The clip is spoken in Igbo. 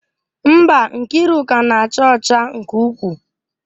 Mba, Nkiruka na-acha ọcha nke ukwuu.